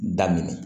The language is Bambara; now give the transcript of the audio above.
Da minɛ